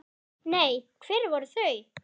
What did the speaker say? Nei, hver voru þau?